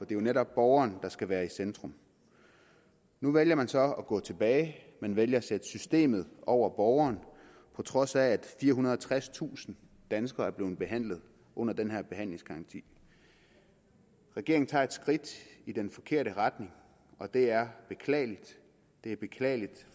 jo netop borgeren der skal være i centrum nu vælger man så at gå tilbage man vælger at sætte systemet over borgeren på trods af at firehundrede og tredstusind danskere er blevet behandlet under den her behandlingsgaranti regeringen tager et skridt i den forkerte retning og det er beklageligt det er beklageligt